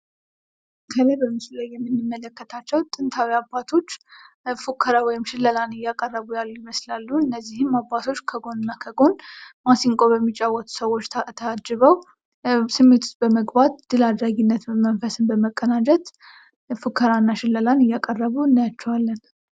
ከላይ በምሱ ላይ የምንመለከታቸው ጥንታዊ አባቶች ፉከራ ወይም ሽለላን እያቀረቡ ይመስላሉ። እነዚህም አባቶች ከጎን እና ከጎን ማሲንቆ በሚጫወቱ ሰዎች ታጅበው ስሜት ዉስጥ በመግባት ድል አድራጊነት መንፈስን በመቀዳጀት ፉከራ እና ሽለላን እያቀረቡ እናያቸዋለን።